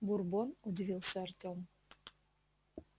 бурбон удивился артем